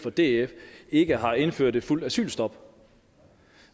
fra df ikke har indført et fuldt asylstop